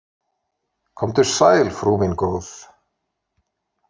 Komdu sæl, frú mín góð.